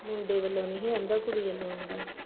ਮੁੰਡੇ ਵਲੋਂ ਨੀ ਹੀ ਆਂਦਾ ਕੁੜੀ ਵਲੋਂ ਆਂਦਾ ਹੀ